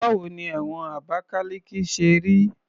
Báwo ni ẹ̀wọ̀n Abakaliki ṣe rí?